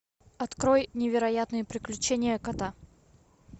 открой невероятные приключения кота